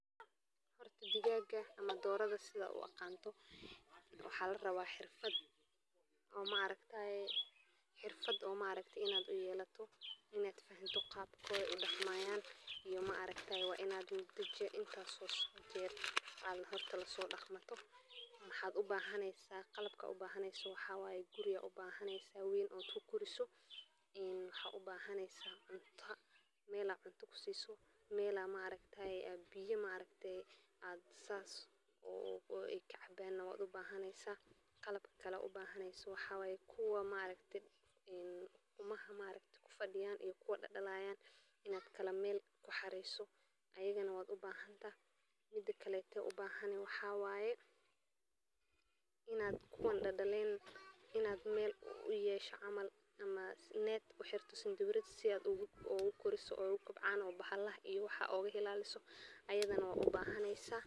Xoolaha dhaqashada, gaar ahaan digaagga, waa mid ka mid ah dhaqashooyinka ugu faa'iidada badan ee beeraha, waana qof kasta oo doonaya in uu dhaqso ku helo dakhli iyo nafaqo, maxaa yeelay digaaggu waa nooc xoolo ah oo si dhakhso leh u soo saara ukun iyo hilib, isla markaana u baahan dhaqaale yar, sida quudinta, cabitaanka, iyo deegaanka, taas oo ka dhigaysa dhaqashada digaagga mid aad ugu habboon qofka yar iyo kan weynba, sida ay ugu wanaagsan tahay in la dhaqo noocyada kala duwan ee digaagga, sida digaagga ukunta, digaagga hilibka, iyo kuwa quruxda, iyadoo la adeegsanayo qalabka casriiga ah ee loogu talagalay dhaqashada sida qolalka kulaylaha.